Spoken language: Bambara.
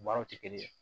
Baaraw tɛ kelen ye